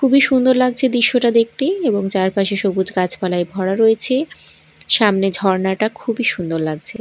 খুবই সুন্দর লাগছে দৃশ্যটা দেখতে এবং চারপাশে সবুজ গাছপালায় ভরা রয়েছে সামনে ঝরণাটা খুবই সুন্দর লাগছে।